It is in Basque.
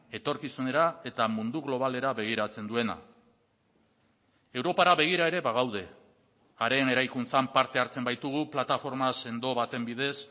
etorkizunera eta mundu globalera begiratzen duena europara begira ere bagaude haren eraikuntzan parte hartzen baitugu plataforma sendo baten bidez